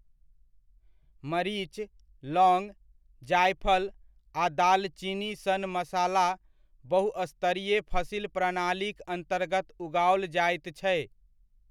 मरीच, लवङ्ग, जायफल आ दालचीनी सन मसाला बहुस्तरीय फसिल प्रणालीक अन्तर्गत उगाओल जाइत छै।